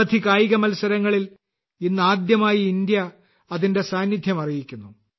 നിരവധി കായിക മത്സരങ്ങളിൽ ഇതാദ്യമായി ഇന്ത്യ അതിന്റെ സാന്നിധ്യം അറിയിക്കുന്നു